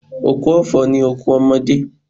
Òkú ọ̀fọ̀ ni òkú ọmọdé.